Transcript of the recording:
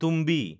তুম্বি